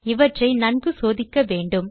இவற்றை நன்கு சோதிக்க வேண்டும்